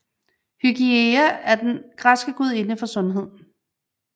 Hygieia er den græske gudinde for sundhed